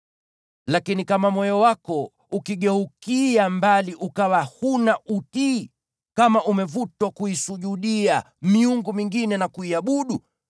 Lakini kama moyo wako ukigeukia mbali ukawa huna utii, kama umevutwa kuisujudia miungu mingine na kuiabudu,